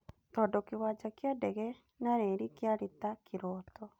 Tondũ kĩwanja kĩa ndege na reri kĩarĩ ta kĩroto.